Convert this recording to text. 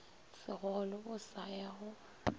segole o sa ya go